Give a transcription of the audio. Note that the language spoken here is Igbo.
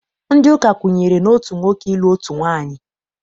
Ndị ụka kwenyere n'otu nwoke ịlụ otu nwaanyị.